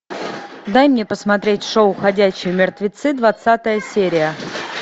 дай мне посмотреть шоу ходячие мертвецы двадцатая серия